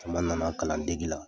Caman nana kalandege la.